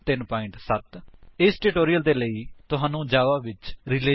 ਜੇਕਰ ਅਜਿਹਾ ਨਹੀਂ ਹੈ ਤਾਂ ਉਚਿਤ ਟਿਊਟੋਰਿਅਲ ਲਈ ਕ੍ਰਿਪਾ ਸਾਡੀ ਨਿਮਨ ਵੇਬਸਾਈਟ ਉੱਤੇ ਜਾਓ